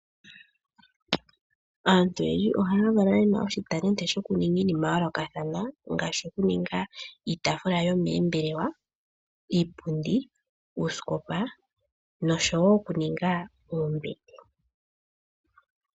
Aantu oyendji oha ya valwa yena uunongo wo kuninga iinima yoolokathana ngaashi oku ninga iitaafula yomoombelewa, iipundi, uuskopa noshowo okuninga oombete.